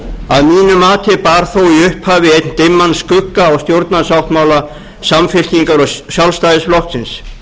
að mínu mati bar þó í upphafi einn dimman skugga á stjórnarsáttmála samfylkingar og sjálfstæðisflokksins